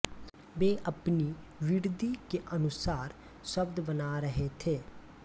वे अपनी बुद्धि के अनुसार शब्द बना रहे थे